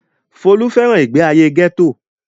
Folú fẹ́ràn ìgbéayé gẹ́tò.